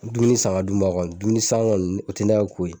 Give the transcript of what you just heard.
Dumuni san ka d'u ma, dumuni san kɔni o tɛ ne ka ko ye.